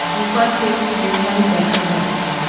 দু পাশে train line দেখা যাচ্ছে।